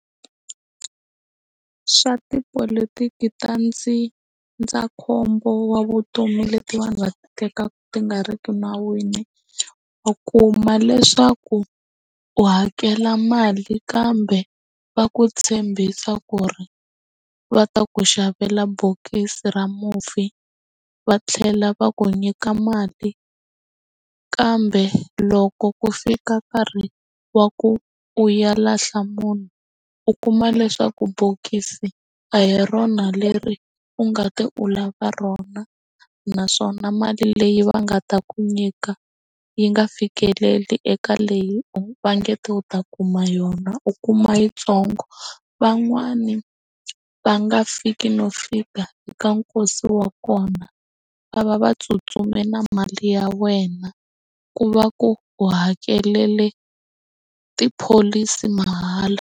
Swa tipolotiki ta ndzindzakhombo wa vutomi leti vanhu va tekaku ti nga ri ki nawini u kuma leswaku u hakela mali kambe va ku tshembisa ku ri va ta ku xavela bokisi ra mufi va tlhela va ku nyika mali kambe loko ku fika nkarhi wa ku u ya lahla munhu u kuma leswaku bokisi a hi rona leri u nga ti u la va rona naswona mali leyi va nga ta ku nyika yi nga fikeleli eka leyi va nge ta u ta kuma yona u kuma yitsongo van'wani va nga fiki no fika eka nkosi wa kona va va va tsutsuma na mali ya wena ku va ku hakelela tipholisi mahala.